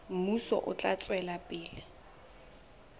mmuso o tla tswela pele